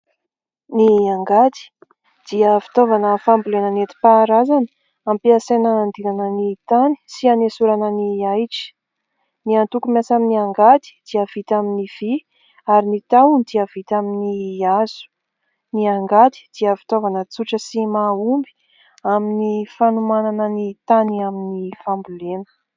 Ny angady dia fitaovana fambolena netim-paharazana ampiasaina andilana ny tany sy hanesorana ny ahitra. Ny antoko miasa amin' ny angady dia vita amin' ny vy ary ny tahony dia vita amin' ny hazo. Ny angady dia fitaovana tsotra sy mahomby amin' ny fanomanana ny tany amin' ny fambolena.